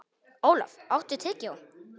Olaf, áttu tyggjó?